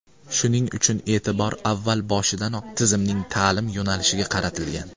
Shuning uchun e’tibor avval boshidanoq tizimning ta’lim yo‘nalishiga qaratilgan.